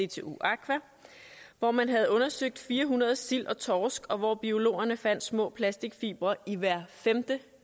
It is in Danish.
dtu aqua hvor man havde undersøgt fire hundrede sild og torsk og hvor biologerne fandt små plastikfibre i hver femte